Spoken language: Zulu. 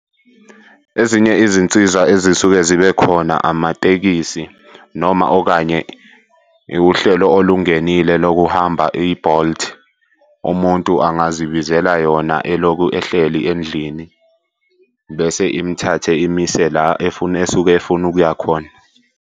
Ezinye izinsiza ezisuke zibe khona amatekisi noma okanye wuhlelo olungenile lokuhamba i-Bolt. Umuntu angazibizela yona elokhu ehleli endlini bese imthathe imise la efuna esuke efuna ukuya khona.